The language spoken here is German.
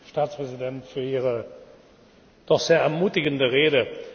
Staatspräsident, für Ihre doch sehr ermutigende Rede.